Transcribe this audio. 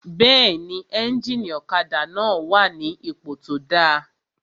Bẹ́ẹ̀ni, éjìnì ọ̀kadà náà wà ní ipò tó dáa